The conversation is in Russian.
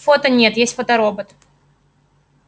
фото нет есть фоторобот